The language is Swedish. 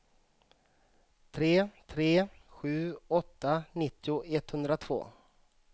tre tre sju åtta nittio etthundratvå